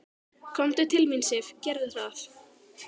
Komdu til mín, Sif, gerðu það.